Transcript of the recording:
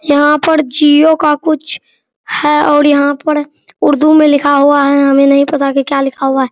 यहाँ पर जिओ का कुछ है और यहाँ पर उर्दू में लिखा हुआ है हमे नहीं पता की क्या लिखा हुआ है |